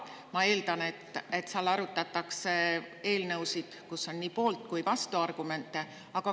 Ma eeldan, et seal arutatakse eelnõusid, mille kohta on nii poolt- kui ka vastuargumente.